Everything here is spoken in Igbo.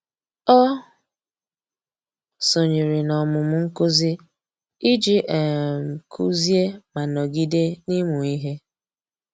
Ọ́ sònyèrè n’ọ́mụ́mụ́ nkuzi iji um kụ́zị́é ma nọ́gídé n’ị́mụ́ ihe.